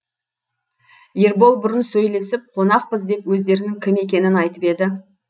ербол бұрын сөйлесіп қонақпыз деп өздерінің кім екенін айтып еді